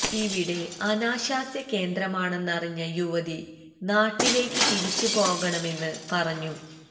ഇവിടെ അനാശാസ്യ കേന്ദ്രമാണെന്നറിഞ്ഞ യുവതി നാട്ടിലേക്ക് തിരിച്ച് പോകണമെന്ന് പറഞ്ഞു